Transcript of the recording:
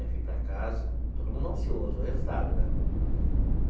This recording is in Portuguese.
Aí fui para casa, todo mundo ansioso, o resultado, né?